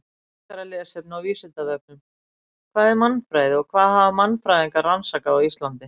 Frekara lesefni á Vísindavefnum: Hvað er mannfræði og hvað hafa mannfræðingar rannsakað á Íslandi?